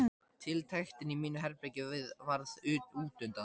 Tiltektin í mínu herbergi varð útundan.